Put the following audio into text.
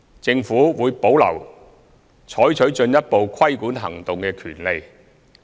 政府會保留採取進一步規管行動的權利。